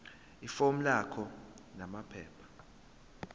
ifomu lakho namaphepha